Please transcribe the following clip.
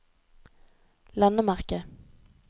landemerke